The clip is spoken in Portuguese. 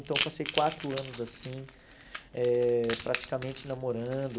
Então, eu passei quatro anos assim, eh praticamente namorando.